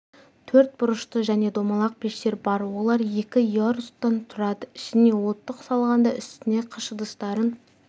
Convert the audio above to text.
төрт бұрышты және домалақ пештер бар олар екі ярустан тұрады ішіне оттық салғанда үстіне қыш ыдыстарын